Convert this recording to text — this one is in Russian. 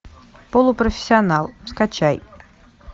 полупрофессионал скачай